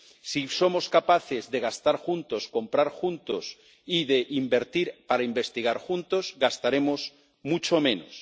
Si somos capaces de gastar juntos, comprar juntos y de invertir para investigar juntos, gastaremos mucho menos.